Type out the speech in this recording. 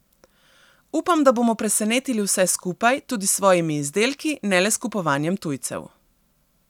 Upam, da bomo presenetili vse skupaj, tudi s svojimi izdelki, ne le s kupovanjem tujcev.